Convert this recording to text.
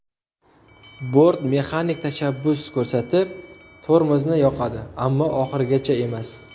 Bort mexanik tashabbus ko‘rsatib tormozni yoqadi, ammo oxirigacha emas.